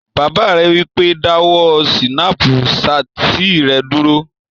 Bàbá rẹ̀ wí pé, "dáwọ́ sínápù satì rẹ dúró!"